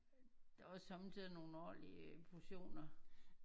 Der er også somme tider nogle ordentlige portioner